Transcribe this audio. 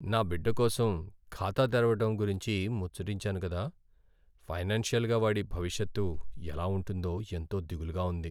నా బిడ్డ కోసం ఖాతా తెరవడం గురించి ముచ్చటించాను కదా, ఫైనాన్షియల్గా వాడి భవిష్యత్తు ఎలా ఉంటుందో ఎంతో దిగులుగా ఉంది!